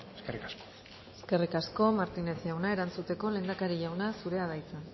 eskerrik asko eskerrik asko martínez jauna erantzuteko lehendakari jauna zurea da hitza